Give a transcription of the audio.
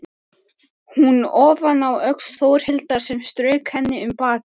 Hún ofaná öxl Þórhildar sem strauk henni um bakið.